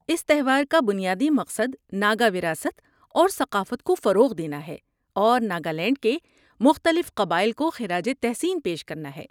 اس تہوار کا بنیادی مقصد ناگا وراثت اور ثقافت کو فروغ دینا اور ناگالینڈ کے مختلف قبائل کو خراج تحسین پیش کرنا ہے۔